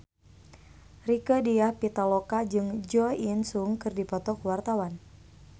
Rieke Diah Pitaloka jeung Jo In Sung keur dipoto ku wartawan